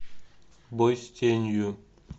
бой с тенью